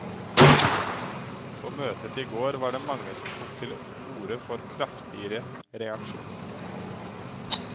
På møtet i går var det mange som tok til orde for kraftigere reaksjoner.